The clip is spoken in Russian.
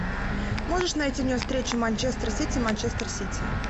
можешь найти мне встречу манчестер сити манчестер сити